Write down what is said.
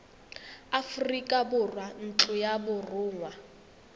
aforika borwa ntlo ya borongwa